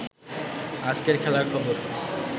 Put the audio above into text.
আজকের খেলার খবর